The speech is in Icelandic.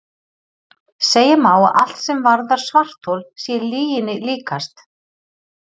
Segja má að allt sem varðar svarthol sé lyginni líkast.